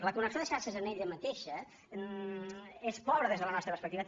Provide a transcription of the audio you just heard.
la connexió de xarxes en ella mateixa és pobra des de la nostra perspectiva